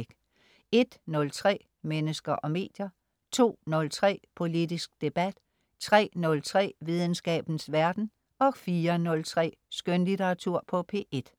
01.03 Mennesker og medier* 02.03 Politisk debat* 03.03 Videnskabens verden* 04.03 Skønlitteratur på P1*